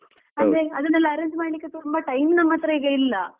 ಅಂದ್ರೆ ಅದೆನ್ನೆಲ್ಲ arrange ಮಾಡ್ಲಿಕ್ಕೆ ತುಂಬಾ time ನಮ್ಮತ್ರ ಈಗ ಇಲ್ಲ.